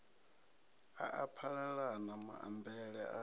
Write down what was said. a a phalalana maambele a